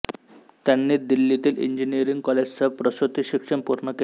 त्यांनी दिल्लीतील इंजिनियरिंग कॉलेजसह प्रसूति शिक्षण पूर्ण केले